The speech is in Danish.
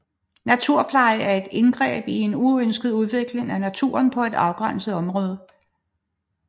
Naturpleje er et indgreb i en uønsket udvikling af naturen på et afgrænset område